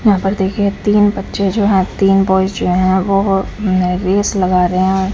यहाँ पर देखिए तीन बच्चे जो हैं तीन बॉयज जो हैं वो वो अ रेस लगा रहे हैं।